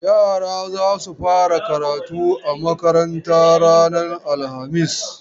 Yara za su fara karatu a makarantar ranar alhamis.